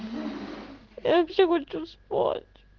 я вообще хочу спать